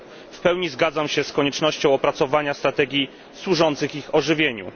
W pełni zgadzam się z koniecznością opracowania strategii służących ich ożywieniu.